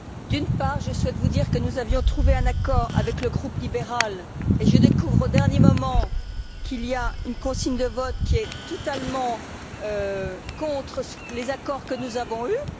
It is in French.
D'une part, je souhaite vous dire que nous avions trouvé un accord avec le groupe libéral et je découvre, au dernier moment, qu'il y a une consigne de vote qui est totalement contre les accords que nous avons eus.